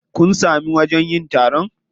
Kun samu wajen yin taron?